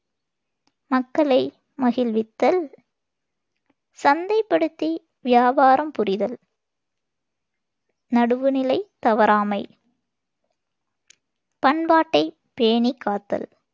மக்களை மகிழ்வித்தல், சந்தைப்படுத்தி வியாபாரம் புரிதல், நடுவுநிலை தவறாமை, பண்பாட்டைப் பேணிக்காத்தல்,